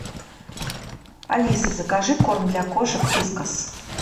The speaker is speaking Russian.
алиса закажи корм для кошек вискас